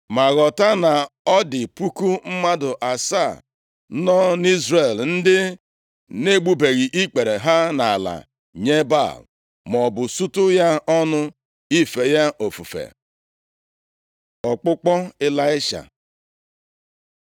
Ma ghọta na ọ dị puku mmadụ asaa nọ nʼIzrel, ndị na-egbubeghị ikpere ha nʼala nye Baal, maọbụ sutu ya ọnụ, ife ya ofufe.” Ọkpụkpọ Ịlaisha